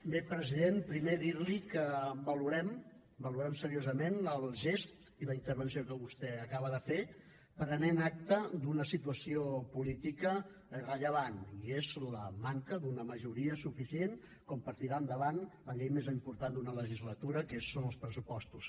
bé president primer dir li que valorem valorem seriosament el gest i la intervenció que vostè acaba de fer prenent acta d’una situació política rellevant i és la manca d’una majoria suficient per tirar endavant la llei més important d’una legislatura que són els pressupostos